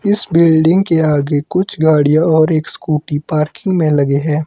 इस बिल्डिंग के आगे कुछ गाड़ियां और एक स्कूटी पार्किंग में लगे हैं।